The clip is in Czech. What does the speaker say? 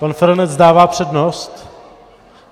Pan Feranec dává přednost?